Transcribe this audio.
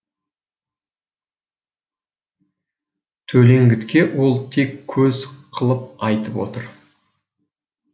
төлеңгітке ол тек көз қылып айтып отыр